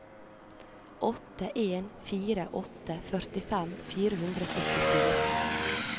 åtte en fire åtte førtifem fire hundre og syttifire